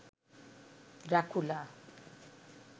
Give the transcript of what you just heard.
Dracula